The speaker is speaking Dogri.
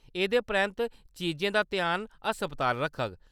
एह्‌‌‌दे परैंत्त, चीजें दा ध्यान अस्पताल रखग।